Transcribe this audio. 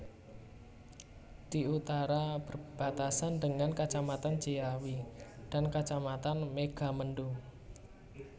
Di Utara Berbatasan dengan Kacamatan Ciawi dan Kacamatan Megamendung